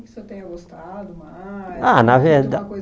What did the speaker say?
que o senhor tenha gostado mais? Ah na